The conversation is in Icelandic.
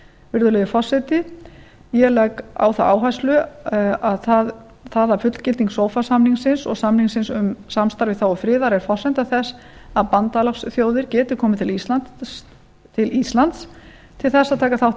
virðulegi forseti ég legg á það áherslu að það að fullgilding sofa samningsins og samningsins um samvinnu í þágu friðar er forsenda þess að bandalagsþjóðir geti komið til íslands til þess að taka þátt í